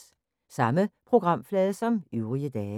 Samme programflade som øvrige dage